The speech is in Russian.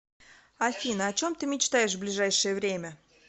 афина о чем ты мечтаешь в ближайшее время